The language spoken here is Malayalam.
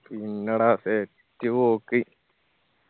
പിന്നെടാ set പോക്ക്